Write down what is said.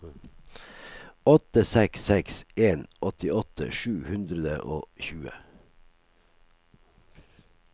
åtte seks seks en åttiåtte sju hundre og tjue